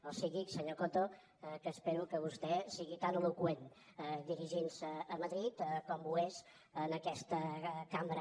o sigui senyor coto que espero que vostè sigui tan eloqüent dirigint se a madrid com ho és en aquesta cambra